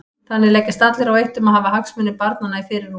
Þannig leggjast allir á eitt um að hafa hagsmuni barnanna í fyrirrúmi.